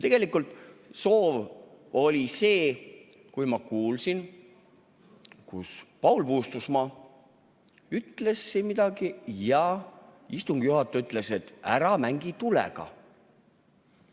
Tegelikult soov oli siis, kui ma kuulsin, et Paul Puustusmaa ütles siin midagi ja istungi juhataja ütles, et ära mängi tulega.